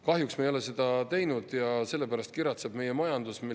Kahjuks me ei ole seda teinud ja sellepärast kiratseb meie majandus.